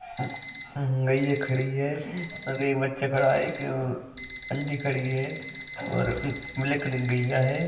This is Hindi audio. गईये खड़ी है एक बचा खड़ा हैएक आंटी खड़ी है और ब्लैक कलर कि गईया है ।